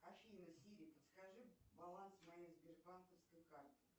афина сири подскажи баланс моей сбербанковской карты